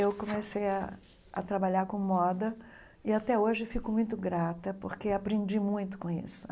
Eu comecei a a trabalhar com moda e até hoje fico muito grata, porque aprendi muito com isso.